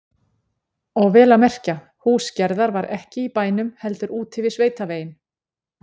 Og vel að merkja, hús Gerðar var ekki í bænum heldur úti við sveitaveginn.